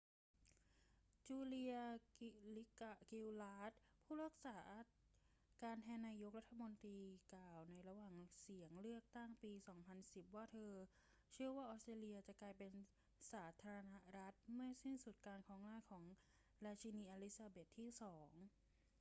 จูเลีย กิลลาร์ด ผู้รักษาการแทนนายกรัฐมนตรี กล่าวในระหว่างหาเสียงเลือกตั้งปี 2010 ว่าเธอเชื่อว่าออสเตรเลียจะกลายเป็นสาธารณรัฐเมื่อสิ้นสุดการครองราชย์ของราชินีอลิซาเบธที่ 2